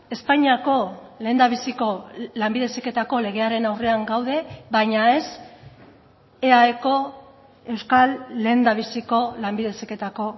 espainiako lehendabiziko lanbide heziketako legearen aurrean gaude baina ez eaeko euskal lehendabiziko lanbide heziketako